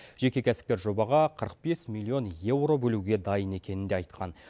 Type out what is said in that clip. жеке кәсіпкер жобаға қырық бес миллион еуро бөлуге дайын екенін де айтқан